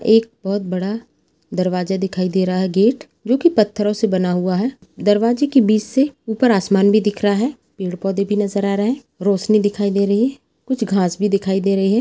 एक बहुत बड़ा दरवाजा दिखाई दे रहा है गेट जो की पत्थर से बना हुआ है दरवाजे के बीच से ऊपर आसमान भी दिख रहा है पौधे भी दिखाई दे रहे हैं और रोशनी दिखाई दे रही हैं कुछ घाँस भी दिखाई दे रहे--